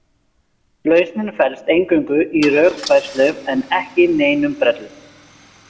Lausnin felst eingöngu í rökfærslu en ekki neinum brellum.